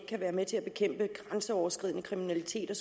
kan være med til at bekæmpe grænseoverskridende kriminalitet og